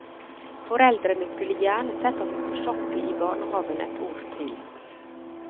Foreldrene skulle gjerne sett at hun fortsatte i barnehaven et år til.